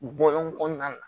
Bɔlɔn kɔnɔna la